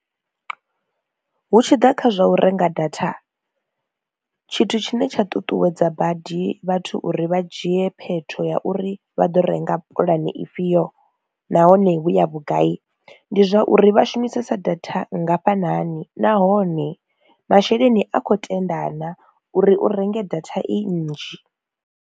Hu tshi ḓa kha zwa u renga data tshithu tshine tsha ṱuṱuwedza badi vhathu uri vha dzhie phetho ya uri vha ḓo renga pulani ifhio nahone i ya vhugai ndi zwauri vha shumisesa data nngafhanani nahone masheleni a khou tenda na uri u renge data i nnzhi.